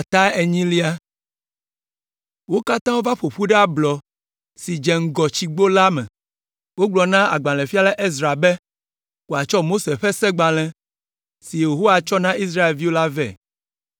wo katã wova ƒo ƒu ɖe ablɔ si dze ŋgɔ Tsigbo la me. Wogblɔ na agbalẽfiala Ezra be wòatsɔ Mose ƒe Segbalẽ, si Yehowa tsɔ na Israelviwo la vɛ.